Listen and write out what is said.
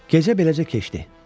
Gecə beləcə keçdi.